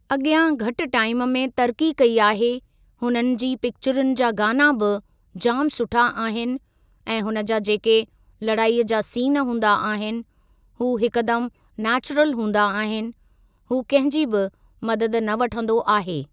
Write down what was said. अॻियां घटि टाइम में तरक़ी कई आहे हुननि जी पिक्चरुनि जा गाना बि जाम सुठा आहिनि ऐं हुन जा जेके लड़ाई जा सीन हूंदा आहिनि हू हिकु दम नैचुरल हूंदा आहिनि हू कंहिं जी बि मदद न वठंदो आहे।